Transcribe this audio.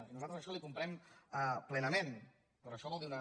i nosaltres això li ho comprem plenament però això vol dir una